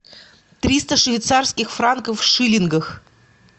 триста швейцарских франков в шиллингах